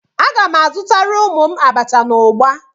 Aga m azutara ụmụ m abacha na ugba.